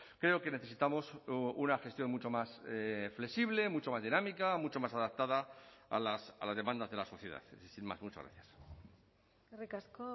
creo que necesitamos una gestión mucho más flexible mucho más dinámica mucho más adaptada a las demandas de la sociedad sin más muchas gracias eskerrik asko